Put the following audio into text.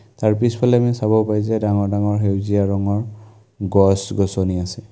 তাৰ পিছফালে আমি চাব পায় যে ডাঙৰ ডাঙৰ সেউজীয়া ৰঙৰ গছ-গছনি আছে।